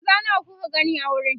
maza nawa kuka gani a wurin